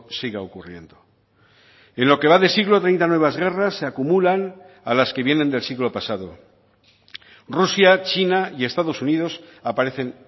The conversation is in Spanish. siga ocurriendo en lo que va de siglo treinta nuevas guerras se acumulan a las que vienen del siglo pasado rusia china y estados unidos aparecen